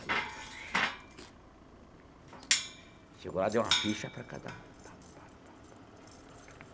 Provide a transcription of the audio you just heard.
Aí eu subi... Chegou lá, deu uma ficha para cada um.